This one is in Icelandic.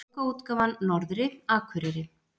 Bókaútgáfan Norðri, Akureyri.